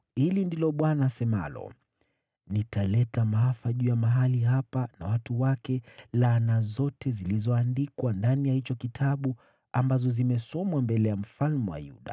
‘Hivi ndivyo asemavyo Bwana: Nitaleta maafa juu ya mahali hapa na watu wake, laana zote zilizoandikwa ndani ya hicho kitabu ambazo zimesomwa mbele ya mfalme wa Yuda.